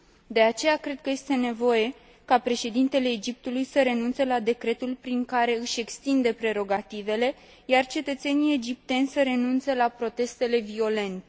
De aceea, cred că este nevoie ca președintele Egiptului să renunțe la decretul prin care își extinde prerogativele, iar cetățenii egipteni să renunțe la protestele violente.